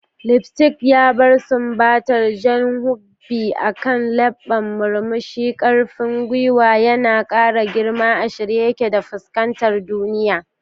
Lipstick ya bar sumbatar jan ruby akan lebban murmushi, karfin gwiwa yana kara girma, a shirye ya ke fuskantar duniya.